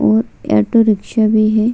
और ऑटोरिक्शा भी है। --